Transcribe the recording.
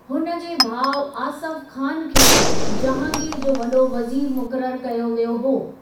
हुन जे भाउ आसफ खान खे जहांगीर जो वॾो वज़ीर मुक़रर कयो वियो हो।